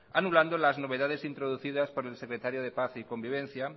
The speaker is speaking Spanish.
anulando las novedades introducidas por el secretario de paz y convivencia